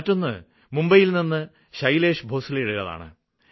മറ്റൊന്ന് മുംബൈയില് നിന്ന് ശൈലേശ് ഭോസ്ലയുടേതാണ്